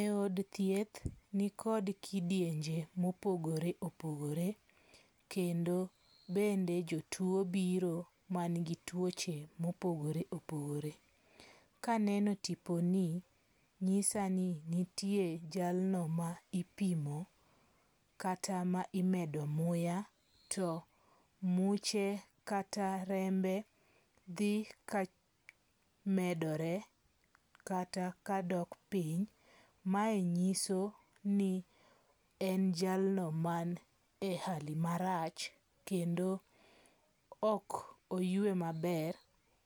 E od thieth nikod kidienje mopogore opogore. Kendo bende jotuo biro man gi tuoche mopogore opogore. Kaneno tiponi nyisa ni nitie jalno ma ipimo kata ma imedo muya to muche kata rembe dhi ka medore kata kadok piny. Mae nyiso ni en jalno man e hali marach kendo ok oywe maber.